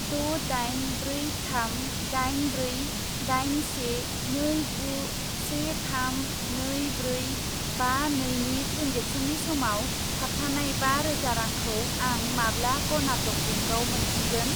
द' दाइन ब्रै थाम दाइन ब्रै दाइन से नै गु से थाम नै ब्रै बा नैनि ट्रेन्जेकसननि समाव थाबथानाय बा रोजा रांखौ आं माब्ला कर्नाटक बेंकआव मोनफिनगोन?